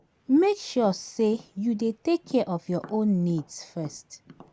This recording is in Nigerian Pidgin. Make sure sey you dey take care of your own needs first